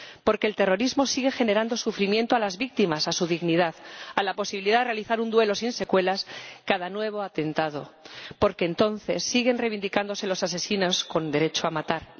Porque el terrorismo sigue generando sufrimiento a las víctimas, a su dignidad, a la posibilidad de realizar un duelo sin secuelas cada nuevo atentado porque entonces siguen reivindicándose los asesinos con derecho a matar.